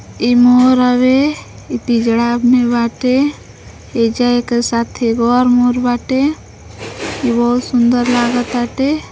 ई मोर हउवे ई पिजरा में बाटे एजा एकरे साथे एगो और मोर बाटे ई बहुत सुंदर लागताटे।